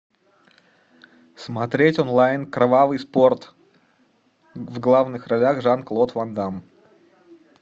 смотреть онлайн кровавый спорт в главных ролях жан клод ван дамм